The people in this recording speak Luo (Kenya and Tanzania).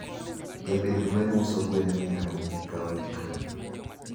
Japidh gwen uso gwen mia wik ka wik